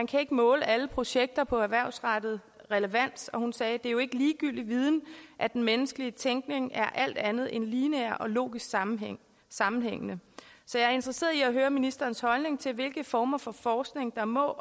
kan måle alle projekter på erhvervsrettet relevans og hun sagde det er jo ikke ligegyldig viden at den menneskelige tænkning er alt andet end lineær og logisk sammenhængende sammenhængende så jeg er interesseret i at høre ministerens holdning til hvilke former for forskning der må